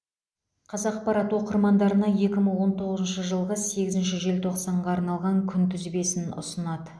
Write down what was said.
қазақпарат оқырмандарына екі мың он тоғызыншы жылғы сегізінші желтоқсанға арналған күнтізбесін ұсынады